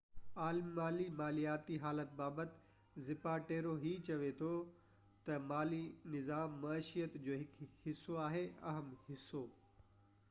عالمي مالياتي حالت بابت زاپاٽيرو هي چوي ٿو تہ مالي نظام معيشيت جو هڪ حصو آهي اهم حصو